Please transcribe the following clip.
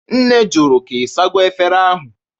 Nne jụrụ ka Ị sago efere ahụ?